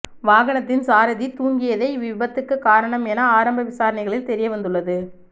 வாகனத்தின் சாரதி தூங்கியதே இவ் விபத்துக்கு காரணம் என ஆரம்ப விசாரணைகளில் தெரியவந்துள்ளது